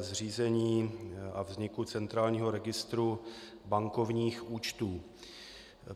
zřízení a vzniku centrálního registru bankovních účtů.